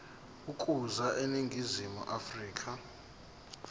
ukuza eningizimu afrika